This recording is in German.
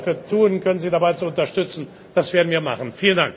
Was wir dafür tun können, um Sie dabei zu unterstützen, das werden wir tun.